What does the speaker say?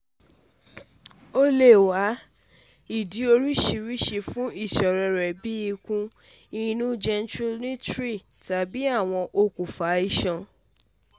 o le wa awọn idi oriṣiriṣi fun iṣoro rẹ bii ikun-inu genitourinary tabi awọn okunfa iṣan